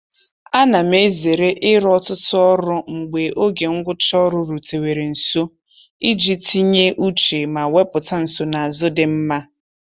A na m ezere ịrụ ọtụtụ ọrụ mgbe oge ngwụcha ọrụ rutewere nso iji tinye uche ma wepụta nsonaazụ dị mma.